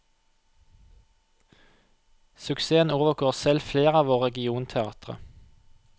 Suksessen overgår selv flere av våre regionteatre.